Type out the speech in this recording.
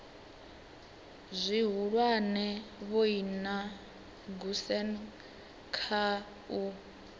zwihulwane vhoina goosen kha u